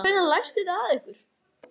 Hvers vegna læstuð þið að ykkur?